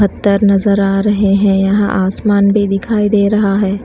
बत्तर नजर आ रहे हैं यहां आसमान भी दिखाई दे रहा है।